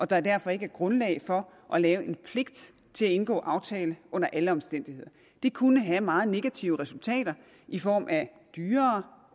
der derfor ikke er grundlag for at lave en pligt til at indgå en aftale under alle omstændigheder det kunne have meget negative resultater i form af dyrere